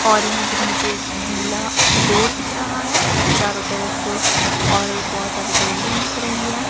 और यहां पर मुझे गीला रोड दिख रहा है चारों तरफ और बहोत सारी बिल्डिंग दिख रही है।